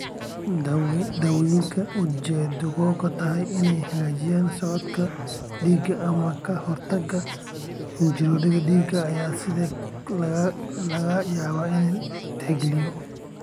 Daawooyinka ujeeddadoodu tahay inay hagaajiyaan socodka dhiigga ama ka hortagga xinjirowga dhiigga ayaa sidoo kale laga yaabaa in la tixgeliyo.